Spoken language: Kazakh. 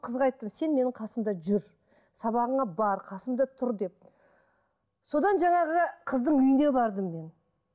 қызға айттым сен менің қасымда жүр сабағыңа бар қасымда тұр деп содан жаңағы қыздың үйіне бардым мен